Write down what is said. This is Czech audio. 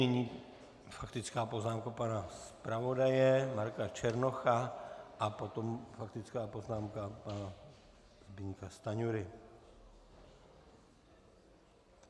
Nyní faktická poznámka pana zpravodaje Marka Černocha a potom faktická poznámka pana Zbyňka Stanjury.